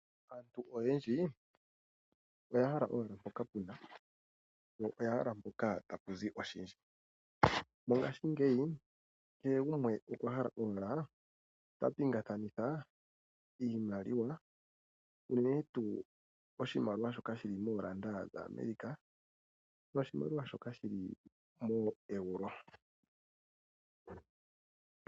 Aantu oyendji oya hala mpoka pu na iimaliwa noya hala mpoka tapu zi oshindji. Mongashingeyi kehe gumwe okwa hala owala ta pingakanitha iimaliwa unene tuu oshimaliwa shoka shi li moodola dhaAmerica noshimaliwa shoka shi li mooeuro.